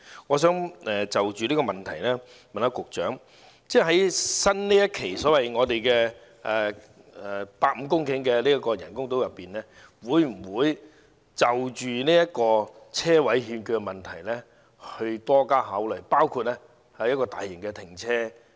我想就此向局長提問，在新一期所謂150公頃的口岸人工島上，會否就着車位欠缺的問題多加研究，例如興建大型停車場？